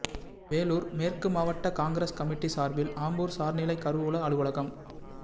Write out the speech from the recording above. வேலூா் மேற்கு மாவட்ட காங்கிரஸ் கமிட்டி சாா்பில் ஆம்பூா் சாா்நிலைக் கருவூல அலுவலகம்